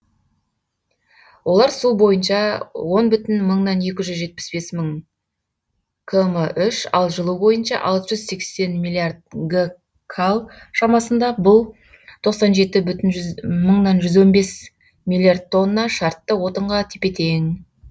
олар су бойынша он бүтін мыңнан екі жүз жетпіс бес мың км үш ал жылу бойынша алты жүз сексен миллиард гкал шамасында бұл тоқсан жеті бүтін мыңнан жүз он бес миллиард тонна шартты отынға тепе тең